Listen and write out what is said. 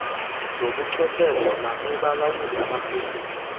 zobuchwepheshe nakubalawuli abaphezulu